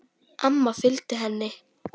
Amma fylgdi henni.